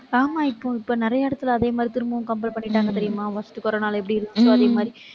ஆமாம், இப்ப இப்ப நிறைய இடத்துல அதே மாதிரி திரும்பவும் compel பண்ணிட்டாங்க தெரியுமா first corona ல எப்படி இருந்துச்சோ அதே மாதிரி.